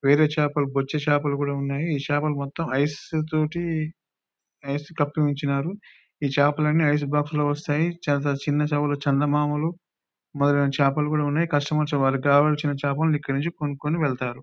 వేరే చేపలు బొచ్చు చేపలు కూడా ఉన్నాయి ఈ చేపల మొత్తం ఐసు తోటి ఐస్ కప్పి ఉంచారు ఈ చేపలన్నీ ఐస్ బాక్స్ లో వస్తాయి కొన్ని చిన్న చేపలు చందమామలు మొదలైన చేపలు కూడా ఉన్నాయి కస్టమర్స్ వాళ్లకు కావలసిన చేపని ఇక్కడికి వచ్చి కొనుక్కొని వెళ్తారు .